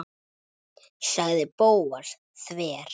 sagði Bóas þver